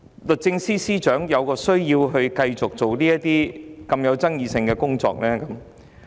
律政司司長為何需要繼續處理這些具爭議性的工作？